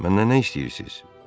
Məndən nə istəyirsiz?